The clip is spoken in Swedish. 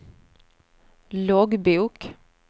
loggbok